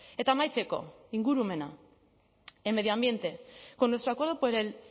eta amaitzeko ingurumena en medio ambiente con nuestro acuerdo por el